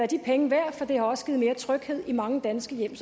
de penge værd for det har også givet mere tryghed i mange danske hjem